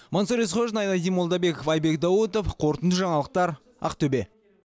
мансұр есқожин айнадин молдабеков айбек даутов қорытынды жаңалықтар ақтөбе